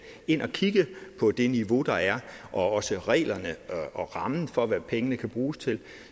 ind og kigge på det niveau der er også på reglerne og rammen for hvad pengene kan bruges til